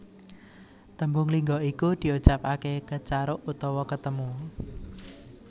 Tembung lingga iku diucapake Kecaruk utawa ketemu